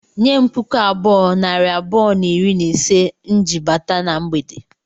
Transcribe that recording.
Nye m puku abụọ, nari abụọ na iri na ise m ji bata na mgbede